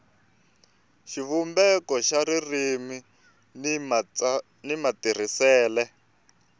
xivumbeko xa ririmi ni matirhisele